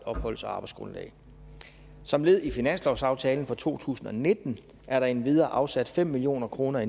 opholds og arbejdsgrundlag som led i finanslovsaftalen for to tusind og nitten er der endvidere afsat fem million kroner i